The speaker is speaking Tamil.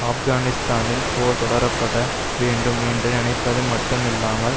ஆப்கானிஸ்தானில் போர் தொடரப்பட வேண்டும் என்று நினைப்பது மட்டும் இல்லாமல்